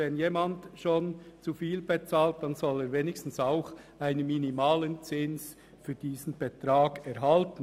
Wenn jemand schon zu viel bezahlt, soll er wenigstens einen minimalen Zins dafür erhalten.